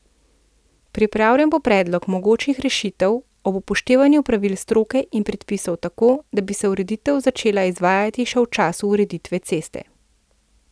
Pripravljen bo predlog mogočih rešitev ob upoštevanju pravil stroke in predpisov tako, da bi se ureditev začela izvajati še v času ureditve ceste.